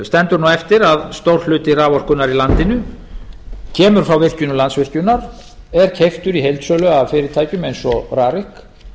stendur nú eftir að stór hluti raforkunnar í landinu kemur frá virkjunum landsvirkjunar er kemur í heildsölu af fyrirtækjum eins og rarik